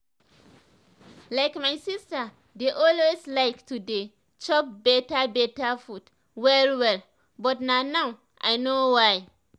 like my sister dey always like to dey chop beta beta food well well but na now i know why